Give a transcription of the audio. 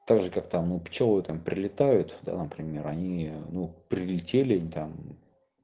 так же как там у пчелы там прилетают в данном примере они ну прилетели и там